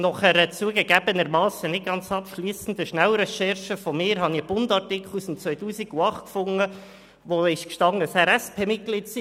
Nach einer zugegeben nicht ganz abschliessenden Schnellrecherche habe ich einen «Bund»-Artikel aus dem Jahr 2008 gefunden, in welchem steht, dass Felix Wolffers SP-Mitglied ist.